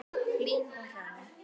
Hlín og Hrönn.